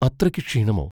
അത്രയ്ക്ക് ക്ഷീണമോ?